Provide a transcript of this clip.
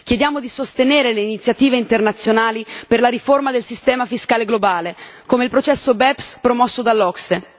Chiediamo di sostenere le iniziative internazionali per la riforma del sistema fiscale globale, come il processo BEPS promosso dall'OCSE